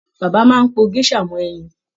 Bàbá máa n po gèsà mọ ẹyin.